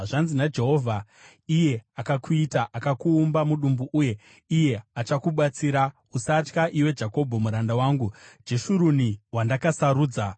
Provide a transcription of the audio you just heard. Zvanzi naJehovha, iye akakuita, akauumba mudumbu uye iye achakubatsira: Usatya, iwe Jakobho, muranda wangu, Jeshuruni, wandakasarudza.